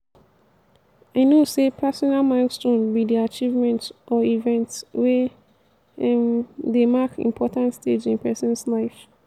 i know say personal milestone be di achievement or event wey um dey mark important stage in person's life.